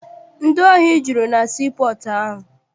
Ndị ohi juru na sii pọọtụ ahụ.